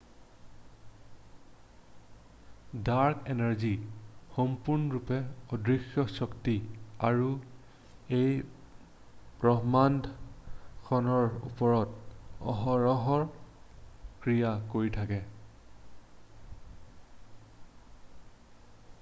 dark energy সম্পূৰ্ণৰূপে অদৃশ্য শক্তি আৰু ই ব্ৰহ্মাণ্ডখনৰ ওপৰত অহৰহ ক্ৰিয়া কৰি থাকে